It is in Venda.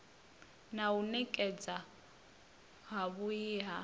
na u nekedzwa havhui ha